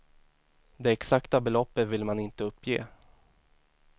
Det exakta beloppet vill man inte uppge.